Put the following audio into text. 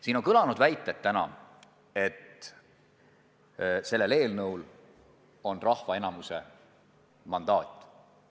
Siin on kõlanud väited, et sellel seadusel on rahva enamiku mandaat.